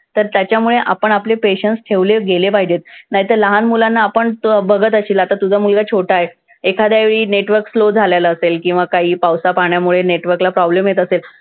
तर त्याच्यामुळे आपण आपले patience ठेवले गेले पाहिजेत. नाहीतर लहान मुलांना आपण तू बघत असशील आता तुझा मुलगा छोटा आहे. एखाद्यावेळी network slow झालेलं असेल किंवा काही पावसापाण्यामुळे network ला problem येत असेल,